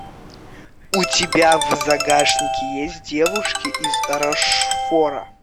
у тебя в загашнике есть девушки из рошфора